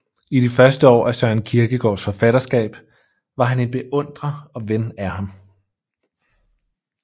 I de første år af Søren Kierkegaards forfatterskab var han en beundrer og ven af ham